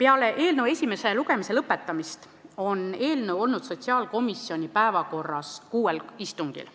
Peale eelnõu esimese lugemise lõpetamist on eelnõu olnud sotsiaalkomisjoni päevakorras kuuel istungil: